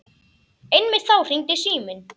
Einmitt þá hringdi síminn.